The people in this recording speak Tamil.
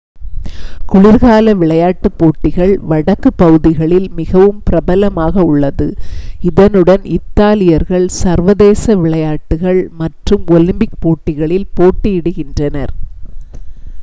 குளிர்கால விளையாட்டுப் போட்டிகள் வடக்குப் பகுதிகளில் மிகவும் பிரபலமாக உள்ளது இதனுடன் இத்தாலியர்கள் சர்வதேச விளையாட்டுகள் மற்றும் ஒலிம்பிக் போட்டிகளில் போட்டியிடுகின்றனர்